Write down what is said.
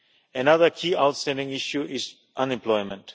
Another key outstanding issue is unemployment.